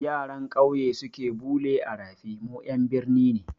Yaran kyauye suke bule a rafi, mu ƴan birni ne